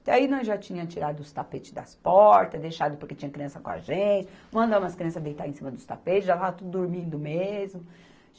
Até aí nós já tínha tirado os tapete das portas, deixado porque tinha criança com a gente, mandamos as crianças deitar em cima dos tapetes, já lá tudo dormindo mesmo.